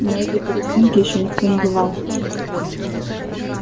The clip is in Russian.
на этой палестинке ещё никто не бывал